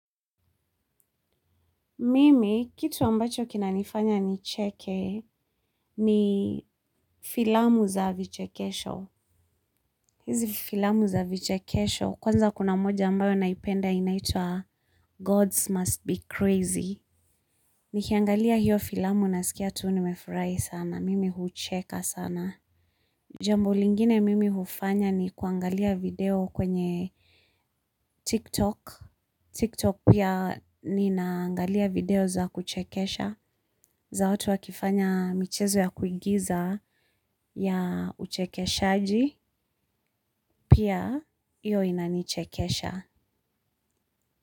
Mimi, kitu ambacho kinanifanya nicheke ni filamu za vichekesho. Hizi filamu za vichekesho, kwanza kuna moja ambayo naipenda inaitwa God's Must Be Crazy. Nikiangalia hiyo filamu nasikia tu nimefurahi sana. Mimi hucheka sana. Jambo lingine mimi hufanya ni kuangalia video kwenye TikTok. TikTok pia ninaangalia video za kuchekesha za watu wakifanya michezo ya kuigiza ya uchekeshaji pia hiyo inanichekesha.